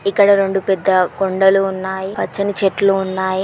ఇక్కడ రెండు పెద్ద కొండలు ఉన్నాయి. పచ్చని చెట్లు ఉన్నాయి.